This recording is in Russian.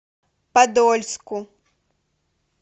подольску